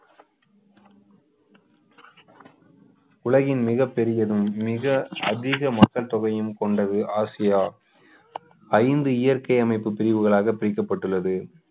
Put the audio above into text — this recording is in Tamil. உலகின் மிகப்பெரியதும் மிக அதிக மக்கள் தொகையும் கொண்டது ஆசியா ஐந்து இயற்கை அமைப்பு பிரிவுகளாக பிரிக்கப்பட்டுள்ளது